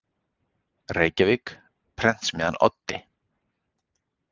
Reykjavík: Prentsmiðjan Oddi.